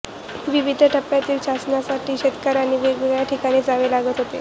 विविध टप्प्यांतील चाचण्यांसाठी शेतकर्यांना वेगवेगळ्या ठिकाणी जावे लागत होते